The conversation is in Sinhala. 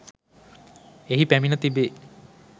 එහි පැමිණ තිබේ